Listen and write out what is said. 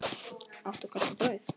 Áttu kannski brauð?